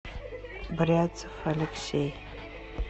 бряцев алексей